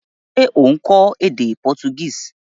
Se o n kó édé Portuguese?